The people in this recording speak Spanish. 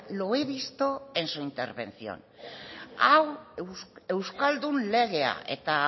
lo he visto en su intervención hau euskaldun legea eta